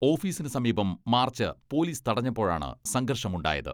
ഓഫീസിന് സമീപം march police തടഞ്ഞപ്പോഴാണ് സംഘർഷമുണ്ടായത്.